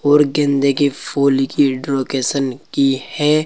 और गेंदे के फूल की ड्रोकेशन की है।